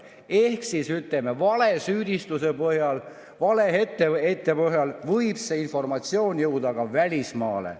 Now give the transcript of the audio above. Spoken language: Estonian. Ehk siis, ütleme, valesüüdistuse põhjal, vale etteheite põhjal võib see informatsioon jõuda ka välismaale.